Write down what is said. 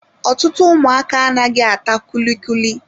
Ọtụtụ ụmụaka anaghị ata kulikuli